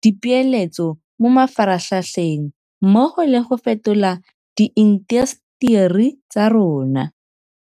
di peeletso mo mafaratlhatlheng mmogo le go fetola diintaseteri tsa rona.